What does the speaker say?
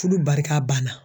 Fudu barika banna.